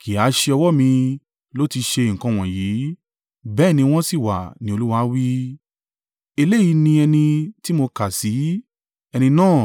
Kì í ha á ṣe ọwọ́ mi ló tí ṣe nǹkan wọ̀nyí, bẹ́ẹ̀ ni wọ́n sì wà?” ni Olúwa wí. “Eléyìí ni ẹni tí mo kà sí: ẹni náà